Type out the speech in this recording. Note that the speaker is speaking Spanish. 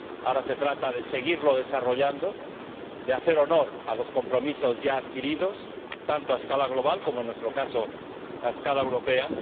Ahora se trata de seguir desarrollándolo, de hacer honor a los compromisos ya adquiridos, tanto a escala global como, en nuestro caso, a escala europea.